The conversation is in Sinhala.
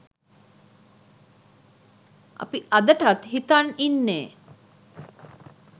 අපි අදටත් හිතන් ඉන්නේ